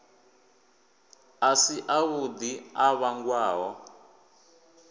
a si avhuḓi a vhangwaho